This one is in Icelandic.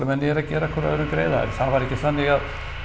menn eru að gera hver öðrum greiða en það var ekki þannig